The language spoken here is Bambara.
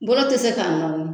Bolo te se k'a se k'a nɔni